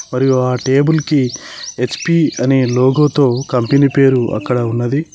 మరియు ఆ టేబుల్ కి హెచ్_పి అనే లోగో తో కంపెనీ పేరు అక్కడ ఉన్నది.